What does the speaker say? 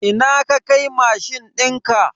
Ina ka kai mashin dinka?